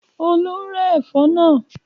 Olú ń rẹ́ ẹ̀fọ́ náà.